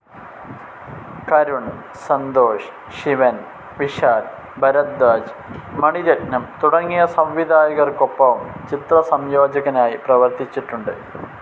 കരുൺ, സന്തോഷ് ശിവൻ, വിശാൽ ഭരധ്വാജ്, മണി രത്നം തുടങ്ങിയ സംവിധായകർക്കൊപ്പവും ചിത്രസംയോജകനായി പ്രവർത്തിച്ചിട്ടുണ്ട്.